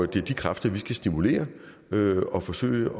det er de kræfter vi skal stimulere og forsøge